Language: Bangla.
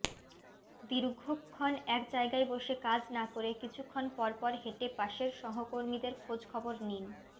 দীর্ঘক্ষণ এক জায়গায় বসে কাজ না করে কিছুক্ষণ পরপর হেঁটে পাশের সহকর্মীদের খোঁজ খবর নিন